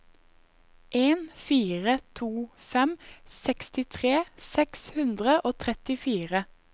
en fire to fem sekstitre seks hundre og trettifire